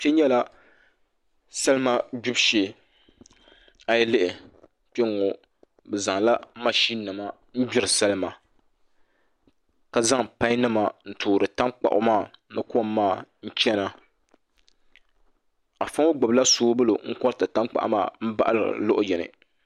Kpɛ nyɛla salima gbibu shee a yi lihi kpɛŋŋo bi zaŋla mashin nim n gbiri salima ka zaŋ pai nima n toori tankpaɣu maa ni kom maa n chɛna afa ŋo gbubila soobuli n koriti tankpaɣu maa n baɣaliri luɣu yini